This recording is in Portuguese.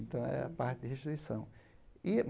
Então, é a parte de restituição. E